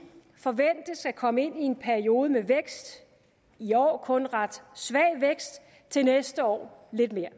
forventes at komme ind i en periode med vækst i år kun en ret svag vækst til næste år lidt mere